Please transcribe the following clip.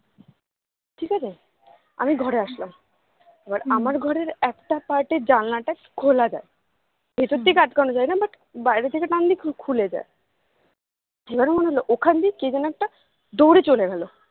ঠিকাছে আমি ঘরে আসলাম এবার আমার ঘরে একটা part এর জানলাটা খোলা যায় ভেতর থেকে আটকানো যায়না but বাইরে থাকে টানলেই খুলে যায় এবার মনে হলো ওখানে দিয়ে কে যেন একটা দৌড়ে চলে গেলো